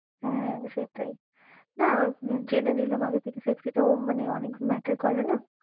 হ্যাঁ সেটাই না জেনে নিলাম আগের থেকে safety টাও অনেক matter করে না